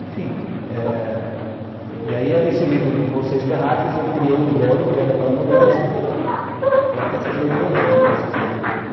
Enfim, eh... E aí esse livro, Vocês Terráqueas, eu criei o blog, o Kelmer para Mulheres, para que essas leitoras me ajudassem a escrever o livro.